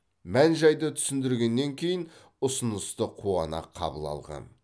мән жайды түсіндіргеннен кейін ұсынысты қуана қабыл алған